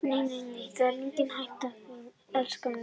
Nei, nei, það er engin hætta á því, elskan mín góða.